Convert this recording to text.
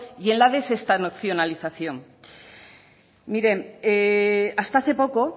y en la desestacionalización miren hasta hace poco